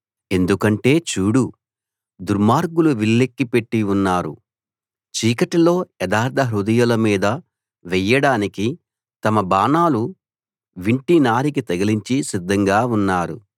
ఎందుకంటే చూడు దుర్మార్గులు విల్లెక్కుపెట్టి ఉన్నారు చీకటిలో యథార్థహృదయుల మీద వెయ్యడానికి తమ బాణాలు వింటి నారికి తగిలించి సిద్ధంగా ఉన్నారు